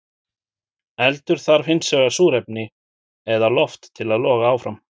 Eldur þarf hins vegar súrefni eða loft til að loga áfram.